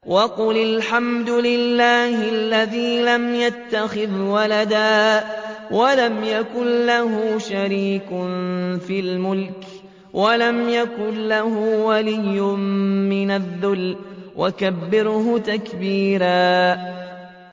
وَقُلِ الْحَمْدُ لِلَّهِ الَّذِي لَمْ يَتَّخِذْ وَلَدًا وَلَمْ يَكُن لَّهُ شَرِيكٌ فِي الْمُلْكِ وَلَمْ يَكُن لَّهُ وَلِيٌّ مِّنَ الذُّلِّ ۖ وَكَبِّرْهُ تَكْبِيرًا